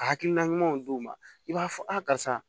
A hakilina ɲumanw d'u ma i b'a fɔ a karisa